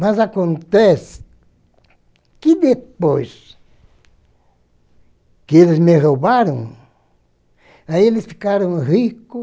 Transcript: Mas acontece que depois que eles me roubaram, aí eles ficaram rico